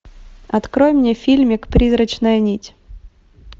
открой мне фильмик призрачная нить